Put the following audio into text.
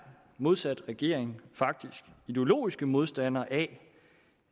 modsat regeringen faktisk ideologisk modstandere af